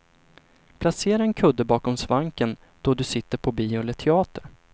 Placera en kudde bakom svanken då du sitter på bio eller teater.